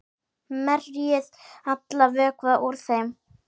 Merjið allan vökva úr þeim.